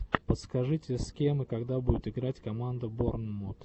подскажи с кем и когда будет играть команда борнмут